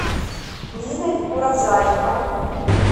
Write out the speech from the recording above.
ниной уразаевой